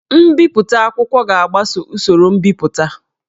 Mbipụta akwụkwọ ga-agbaso usoro mbipụta